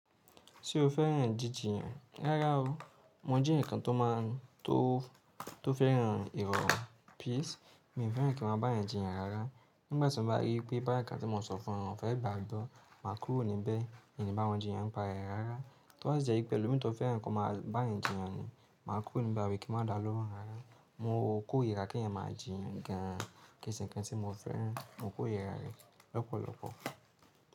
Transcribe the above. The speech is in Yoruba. Ṣé o fẹ́ràn jíjiyàn? Rárá o. Mo jẹ́ ẹnìkan tó máa tó tó fẹ́ràn ìrọ̀rùn píìsì, mi ò fẹ́ràn kí wọ́n bá yàn jíyàn rárá. Nígbà tí mo bá rí pé bóyā ǹkan tí mo sọ fún wọn fẹ̀ gbàgbọ́, màá kúrò níbẹ̀. Èyí ni báwọn jíyàn ń pa rè rárá. Tó bá sì jẹ́ wípé ẹlò mi tó fẹ́ràn kí wọ́n máa bá yàn jíyàn ni, màá kúrò níbẹ̀ àbí kí n má dàlórọ̀ rárá. Mo kò rira kí ẹ̀yin máa jíyàn gan, kí n sì kín tí mo fẹ́ràn. Mo kò rira rẹ̀ lọ́pọ̀lọ́pọ̀.